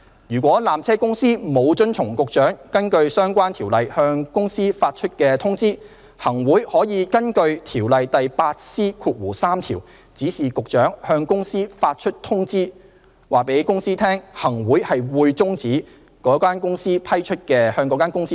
如果纜車公司沒有遵從局長根據相關條例向公司發出通知，行會可根據《條例》第 8C3 條指示局長向公司發出通知，告知公司行會擬終止向公司批出的經營權。